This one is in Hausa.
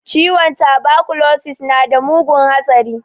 Ciwon tabakulosis nada mugun hatsari